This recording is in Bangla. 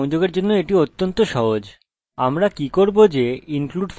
এটি ডাটাবেসের সাথে সংযোগের জন্য অত্যন্ত সহজ